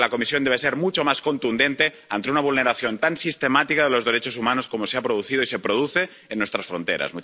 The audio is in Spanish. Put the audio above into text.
Creo que la Comisión debe ser mucho más contundente ante una vulneración tan sistemática de los derechos humanos como la que se ha producido y se produce en nuestras fronteras.